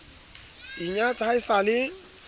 inyatsa ha e sa le